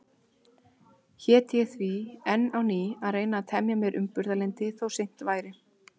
Hét ég því enn á ný að reyna að temja mér umburðarlyndi, þó seint væri.